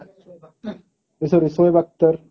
A sorry Shoaib Akhtar